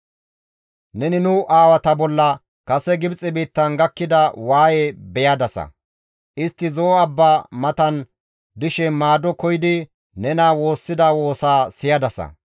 «Neni nu aawata bolla kase Gibxe biittan gakkida waayeza beyadasa; istti Zo7o abba matan dishe maado koyidi nena woossida woosaa siyadasa.